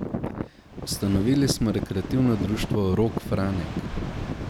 Ustanovili smo rekreativno društvo Rog Franek.